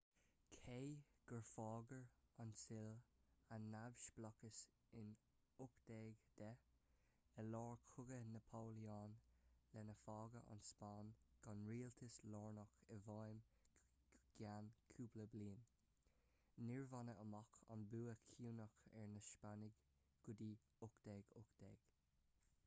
cé gur fhógair an tsile a neamhspleáchas in 1810 i lár chogaí napoléon lena bhfágadh an spáinn gan rialtas lárnach i bhfeidhm go ceann cúpla bliain níor baineadh amach an bua cinniúnach ar na spáinnigh go dtí 1818